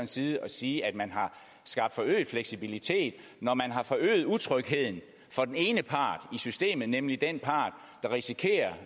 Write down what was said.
side at sige at man har skabt forøget fleksibilitet når man har forøget utrygheden for den ene part i systemet nemlig den part der risikerer